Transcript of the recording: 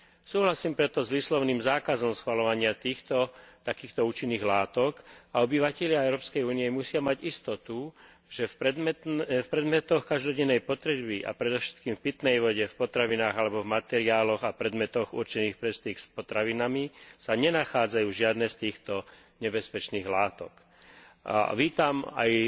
Súhlasím preto s výslovným zákazom schvaľovania takýchto účinných látok a obyvatelia Európskej únie musia mať istotu, že v predmetoch každodennej potreby a predovšetkým v pitnej vode, v potravinách alebo v materiáloch a predmetoch určených pre styk s potravinami sa nenachádzajú žiadne z týchto nebezpečných látok. Vítam aj